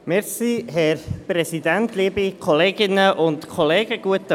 Kommissionssprecher der JuKo.